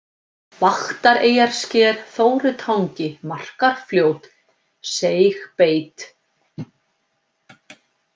Vaktareyjarsker, Þórutangi, Markarfljót, Seigbeit